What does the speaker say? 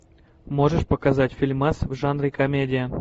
можешь показать фильмас в жанре комедия